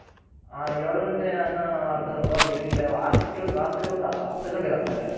ಹ ಏಳ್ ಘಂಟೆ ಅನ್ನೂ ಹಾಕ್ತರಲ್ವ ಬೆಳಿಗಿನ ಜಾವ ಆ shift ಅಲ್ಲಿ ರಾತ್ರಿ ಹೊತ್ತು ಹತ್ತ್ ಘಂಟೆಗೆ ಹಾಕ್ತಾರೆ.